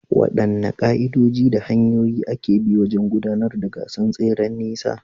Waɗanne ka’idoji da hanyoyin aka bi wajen gudanar da gasar tseren nisa?